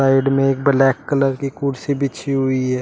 Side में एक black colour की कुर्सी बिछी हुई है।